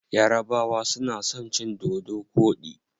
Yarabawa suna son cin dodo koɗi.